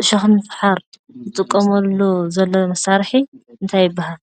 ዕሾኽ ንምፍሓር ይጥቀመሉ ዘሎ መሳርሒ እንታይ ይበሃል?